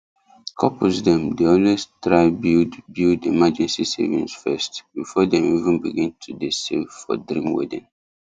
couples dem dey always try build build emergency savings first before dem even begin to dey save for dream wedding